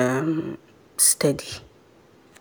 um steady.